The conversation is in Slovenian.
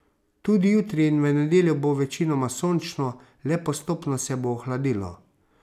Tudi jutri in v nedeljo bo večinoma sončno, le postopno se bo ohladilo.